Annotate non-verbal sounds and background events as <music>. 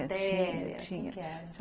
<unintelligible> Tinha, tinha.